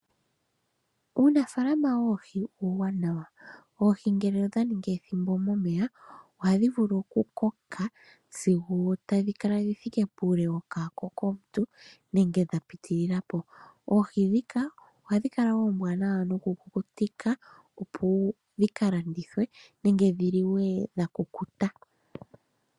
Uunafaalama woohi uuwanawa. Oohi ngele odha ningi ethimbo momeya, ohadhi vulu okukoka sigo tadhi kala dhi thike puule wokwaako komuntu, nenge dha pitilila po. Oohi ndhika ohadhi kala oombwanawa nokukukutika, opo dhi ka landithwe, nenge dhi liwe dha kukuta.